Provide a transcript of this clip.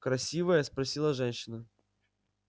красивая спросила женщина